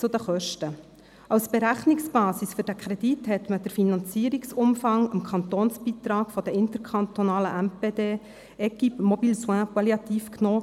Zu den Kosten: Als Berechnungsbasis für den Kredit wurde der Finanzierungsumfang des Kantonsbeitrags an den interkantonalen MPD «Equipe Mobile Soins Palliative» verwendet.